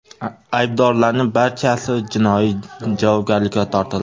Aybdorlarning barchasi jinoiy javobgarlikka tortildi.